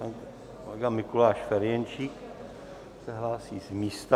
Pan kolega Mikuláš Ferjenčík se hlásí z místa.